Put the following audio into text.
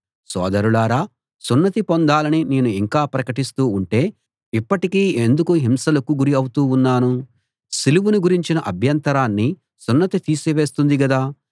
సోదరులారా సున్నతి పొందాలని నేను ఇంకా ప్రకటిస్తూ ఉంటే ఇప్పటికీ ఎందుకు హింసలకు గురి అవుతూ ఉన్నాను సిలువను గురించిన అభ్యంతరాన్ని సున్నతి తీసివేస్తుంది గదా